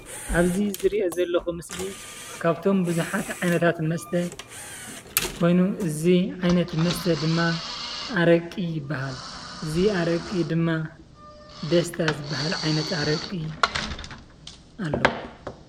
ኣብዚ ዝሪኦ ዘለኹ ምስሊ ካብቶም ብዙሓት ዓይነታት መስተ ኮይኑ እዚ ዓይነት መስተ ድማ ኣረቂ ይባሃል፡፡ እዚ ኣረቂ ድማ ደስታ ዝባሃል ዓይነት ኣረቂ ኣሎ፡፡